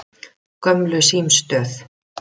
Gömlu símstöð